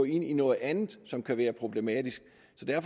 ind i noget andet som kan være problematisk